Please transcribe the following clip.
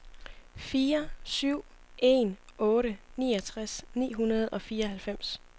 fire syv en otte niogtres ni hundrede og fireoghalvfems